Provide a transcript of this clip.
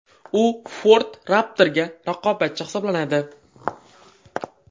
U Ford Raptor’ga raqobatchi hisoblanadi.